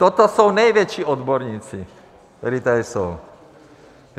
Toto jsou největší odborníci, kteří tady jsou.